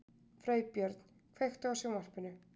Freybjörn, kveiktu á sjónvarpinu.